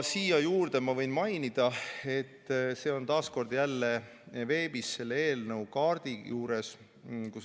Siia juurde ma võin mainida, et see on taas kord jälle veebis selle eelnõu kaardi juures.